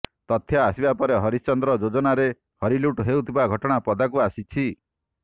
ତଥ୍ୟ ଆସିବାପରେ ହରିଶ୍ଚନ୍ଦ୍ର ଯୋଜନାରେ ହରିଲୁଟ୍ ହେଉଥିବା ଘଟଣା ପଦାକୁ ଆସିଛି